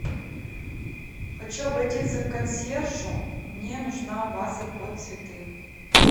хочу обратиться к консьержу мне нужна ваза под цветы